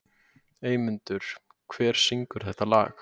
Eymundur, hver syngur þetta lag?